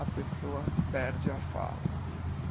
A pessoa perde a fala.